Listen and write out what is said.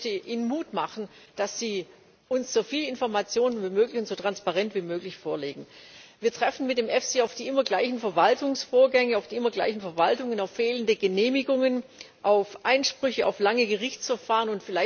Ich möchte Ihnen Mut machen, dass Sie uns so viele Informationen wie möglich und so transparent wie möglich vorlegen. Wir treffen mit dem EFSI auf die immer gleichen Verwaltungsvorgänge, auf die immer gleichen Verwaltungen, auf fehlende Genehmigungen, auf Einsprüche, auf lange Gerichtsverfahren.